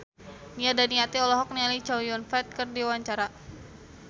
Nia Daniati olohok ningali Chow Yun Fat keur diwawancara